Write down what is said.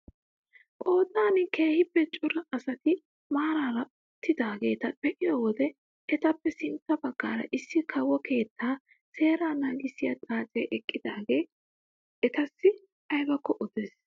Qoodan keehippe cora asati maarara uttidaageta be'iyoo wode etappe sintta baggaara issi kawo keettaa seeraa naagissiyaa xaacee eqqidaage atassi aybakko odees!